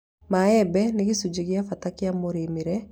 Maembe nĩ gĩcunjĩ gĩa bata kĩa mũrĩme kũrĩ bamĩrĩ nyingĩ bũrũri-inĩ Kenya